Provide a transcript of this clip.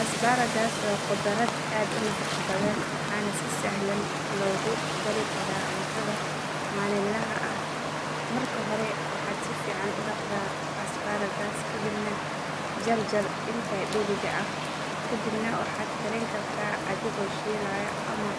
Asparagus waa khudrad aad u nafaqo badan waxaana si sahlan loogu dari karaa cuntada maalinlaha ah. Marka hore waxaad si fiican u dhaqdaa asparagus ka dibna jar jar inta dheeriga ah. Kadib waxaad karin kartaa adigoo shiilaya ama